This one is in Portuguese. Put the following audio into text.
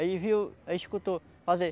Ele viu, ele escutou fazer...